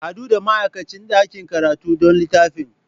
Haɗu da ma'aikacin ɗakin karatu don littafin.